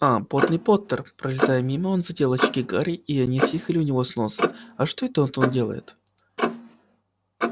а потный поттер пролетая мимо он задел очки гарри и они съехали у него с носа а что это он тут делает